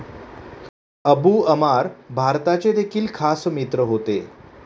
Abu Ammar भारताचे देखील खास मित्र होते.